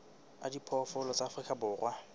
a diphoofolo tsa afrika borwa